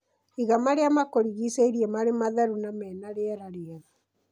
Iga marĩa makũrigicĩirie marĩ matheru na mena rĩera rĩega.